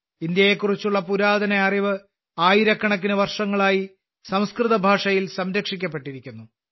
ഇന്ത്യയെക്കുറിച്ചുള്ള പുരാതന അറിവ് ആയിരക്കണക്കിന് വർഷങ്ങളായി സംസ്കൃതഭാഷയിൽ സംരക്ഷിക്കപ്പെട്ടിരിക്കുന്നു